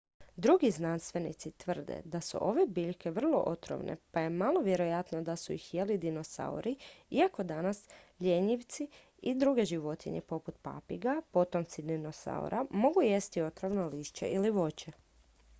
drugi znanstvenici tvrde da su ove biljke vrlo otrovne pa je malo vjerojatno da su ih jeli dinosauri iako danas ljenjivci i druge životinje poput papiga potomci dinosaura mogu jesti otrovno lišće ili voće